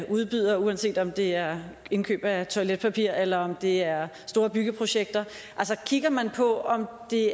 udbyder uanset om det er indkøb af toiletpapir eller om det er store byggeprojekter altså kigger man på om det